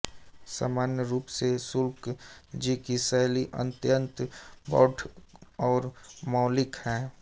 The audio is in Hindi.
सामान्य रूप से शुक्ल जी की शैली अत्यंत प्रौढ़ और मौलिक है